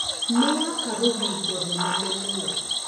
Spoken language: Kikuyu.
Nĩwaka rũthingo rũnene mũno